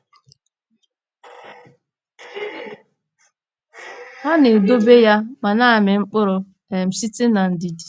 Ha “na-edobe ya ma na-amị mkpụrụ um site n’ndidi.”